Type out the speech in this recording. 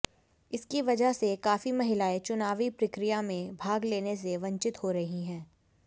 इसकी वजह से काफी महिलाएं चुनावी प्रक्रिया में भाग लेने से वंचित हो रही हैं